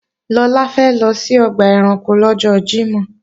Lọlá fẹ́ lọ sí ọgbà ẹranko lọ́jọ́ Jímọ̀